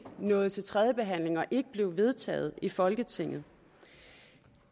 nåede til tredjebehandlingen og ikke blev vedtaget i folketinget